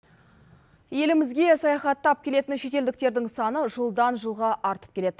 елімізге саяхаттап келетін шетелдіктердің саны жылдан жылға артып келеді